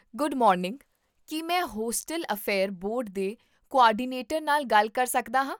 Good morning, ਕੀ ਮੈਂ hostel affair board ਦੇ ਕੋਆਰਡੀਨੇਟਰ ਨਾਲ ਗੱਲ ਕਰ ਸਕਦਾ ਹਾਂ?